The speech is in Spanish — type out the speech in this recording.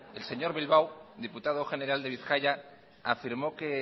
el señor bilbao diputado general de bizkaia afirmó que